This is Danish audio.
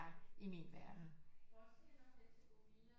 I min verden